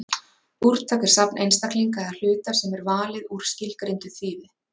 Úrtak er safn einstaklinga eða hluta sem er valið úr skilgreindu þýði.